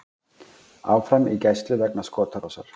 Áfram í gæslu vegna skotárásar